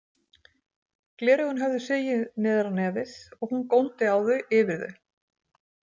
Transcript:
Gleraugun höfðu sigið niður á nefið og hún góndi á þau yfir þau.